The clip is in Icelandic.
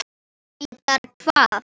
Reyndar hvað?